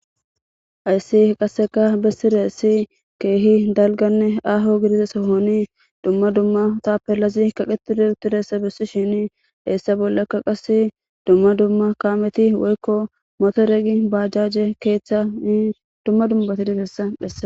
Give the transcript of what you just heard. Hayssi qasseka bessiressi keehi dalganne aho gidize sohoni dumma dumma tapelazi kaqetide huttireessa bessi shini heessa bollakka qas dumma dumma kaameti woykko moto regi baajaje keeththa i dumma dumbati dibessa dhessa